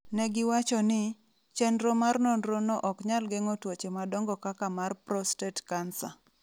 Ne giwacho ni, chenro mar nonrono ok nyal geng'o tuoche madongo kaka mar prostate cancer.